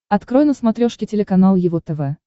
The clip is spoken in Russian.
открой на смотрешке телеканал его тв